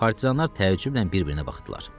Partizanlar təəccüblə bir-birinə baxdılar.